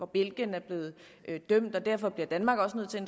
belgien er blevet dømt og derfor bliver danmark også nødt til at